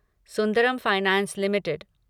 Sundaram finance limited